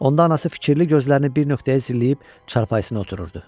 Onda anası fikirli gözlərini bir nöqtəyə zilləyib çarpayısına otururdu.